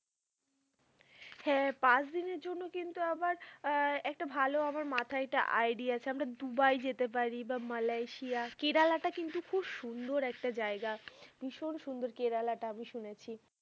হ্যাঁ পাঁচদিনের জন্য কিন্তু আবার আহ একটা ভালো আমার মথায় একটা idea আছে। আমরা দুবাই যেতে পারি। বা মালয়েশিয়া, কেরালাটা কিন্তু খুব সুন্দর একটা জায়গা। ভীষণ সুন্দর কেরালা টা আমি শুনেছি।